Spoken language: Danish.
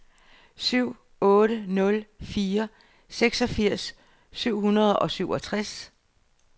syv otte nul fire seksogfirs syv hundrede og syvogtres